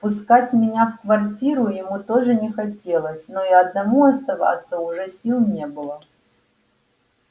впускать меня в квартиру ему тоже не хотелось но и одному оставаться уже сил не было